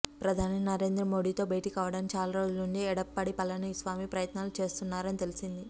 ప్రధాని నరేంద్ర మోడీతో భేటీ కావడానికి చాల రోజుల నుంచి ఎడప్పాడి పళనిసామి ప్రయత్నాలు చేస్తున్నారని తెలిసింది